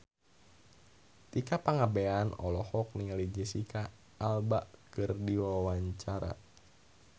Tika Pangabean olohok ningali Jesicca Alba keur diwawancara